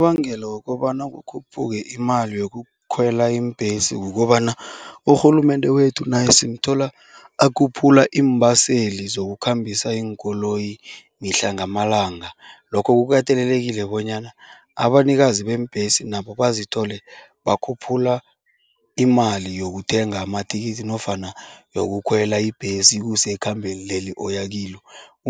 Unobangela wokobana kukhuphuke imali yokukhwela iimbhesi kukobana urhulumende wethu naye simthola akhuphula iimbaseli zokukhambisa iinkoloyi mihla ngamalanga, lokho kukatelelekile bonyana abanikazi beembhesi nabo bazithole bakhuphula imali yokuthenga amathikithi nofana yokukhwela ibhesi ikuse ekhambeni leli oya kilo.